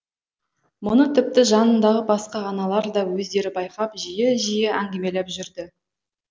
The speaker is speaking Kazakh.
мұны тіпті жанындағы басқа аналар да өздері байқап жиі жиі әңгімелеп жүрді